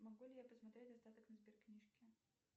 могу ли я посмотреть остаток на сберкнижке